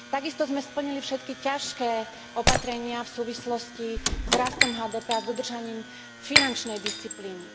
Takisto sme splnili všetky ťažké opatrenia v súvislosti s rastom HDP a s dodržaním finančnej disciplíny.